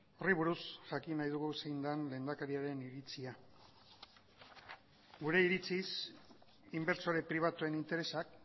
horri buruz jakin nahi dugu zein den lehendakariaren iritzia gure iritziz inbertsore pribatuen interesak